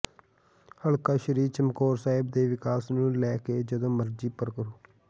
ਹਲਕਾ ਸ੍ਰੀ ਚਮਕੌਰ ਸਾਹਿਬ ਦੇ ਵਿਕਾਸ ਨੂੰ ਲੈ ਕੇ ਜਦਂੋ ਮਰਜ਼ੀ ਪ੍ਰਰੋ